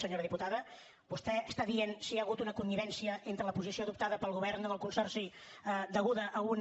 senyora diputada vostè està dient si hi hagut una connivència entre la posició adoptada pel govern amb el consorci deguda a una